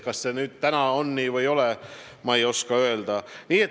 Kas see ka täna on nii või ei ole, ma ei oska öelda.